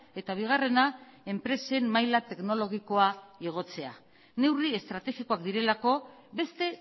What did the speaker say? eta bigarrena enpresen maila teknologikoa igotzea neurri estrategikoak direlako beste